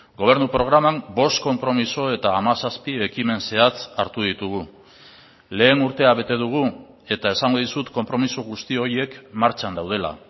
gobernu programan bost konpromiso eta hamazazpi ekimen zehatz hartu ditugu lehen urtea bete dugu eta esango dizut konpromiso guzti horiek martxan daudela